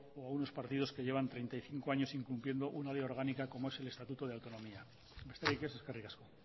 o unos partidos que llevan treinta y cinco años incumpliendo una ley orgánica como es el estatuto de autonomía besterik ez eskerrik asko